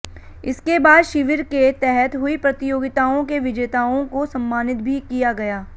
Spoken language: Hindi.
इसके बाद शिविर के तहत हुई प्रतियोगिताओं के विजेताओं को सम्मानित भी किया गया